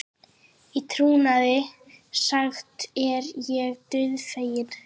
Í trúnaði sagt er ég dauðfeginn.